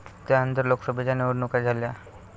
त्यानंतर लोकसभेच्या निवडणुका झाल्या.